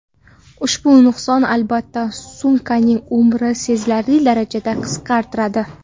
Ushbu nuqson, albatta, sumkaning umrini sezilarli darajada qisqartiradi.